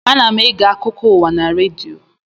Ana m ege akụkọ ụwa na redio